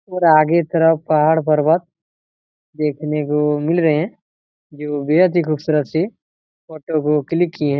और आगे तरफ पहाड़ पर्वत देखने को मिल रहे है जो बेहद ही खूबसूरत सी फोटो को क्लिक की है।